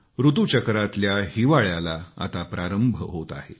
ऋतुचक्रातल्या हिवाळ्याला आता प्रारंभ होत आहे